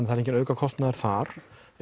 það er enginn aukakostnaður þar